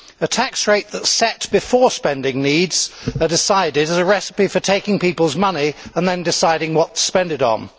A tax rate that is set before spending needs are decided is a recipe for taking people's money and then deciding what to spend it on.